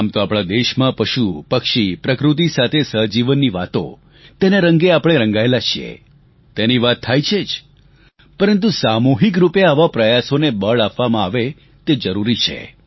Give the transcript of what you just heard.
આમ તો આપણા દેશમાં પશુપક્ષી પ્રકૃતિ સાથે સહજીવનની વાતો તેના રંગે આપણે રંગાયેલા છીએ તેની વાત થાય છે જ પરંતુ સામૂહિકરૂપે આવા પ્રયાસોને બળ આપવામાં આવે તે જરૂરી છે